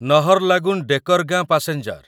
Naharlagun Dekargaon passenger